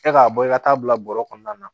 E k'a bɔ i ka taa bila bɔrɔ kɔnɔna na